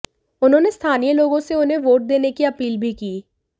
उन्होंने स्थानीय लोगों से उन्हें वोट देने की अपील भी की